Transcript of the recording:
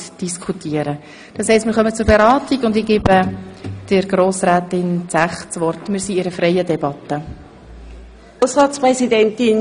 Wir führen eine freie Debatte und ich gebe der Kommissionspräsidentin das Wort.